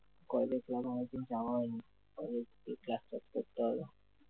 কলেজের ক্লাস অনেকদিন যাওয়া হয়নি। কলেজে গিয়ে ক্লাস করতে হবে।